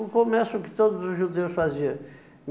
O comércio que todos os judeus fazia.